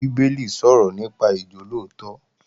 Bíbélì sọ̀rọ̀ nípa ìjólóòtọ́